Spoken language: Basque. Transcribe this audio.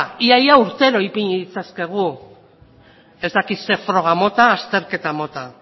ia ia urtero ipini ditzakegu ez dakit zer froga mota azterketa mota